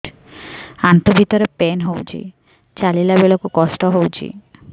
ଆଣ୍ଠୁ ଭିତରେ ପେନ୍ ହଉଚି ଚାଲିଲା ବେଳକୁ କଷ୍ଟ ହଉଚି